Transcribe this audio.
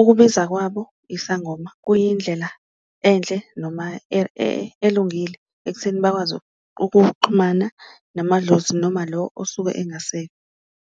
ukubiza kwabo isangoma kuyindlela enhle noma elungile ekutheni bakwazi ukuxhumana namadlozi noma lo osuke engasekho.